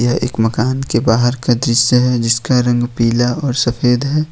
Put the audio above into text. यह एक मकान के बाहर का दृश्य है जिसका रंग पीला और सफेद है।